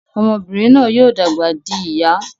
Ọmọbinrin náà yóò dàgbà dì ìyá